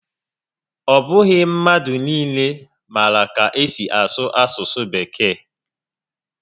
Ọ bụghị mmadụ niile maara ka esi asụ asụsụ Bekee